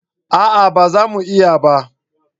A'a ba za mu iya ba